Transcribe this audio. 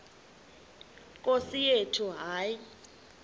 nkosi yethu hayi